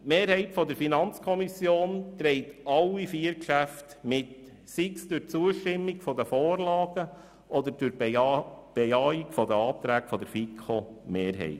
Die Mehrheit der FiKo trägt alle vier Geschäfte mit, sei es durch Zustimmung zu den Vorlagen oder sei es durch Bejahung der Anträge der FiKoMehrheit.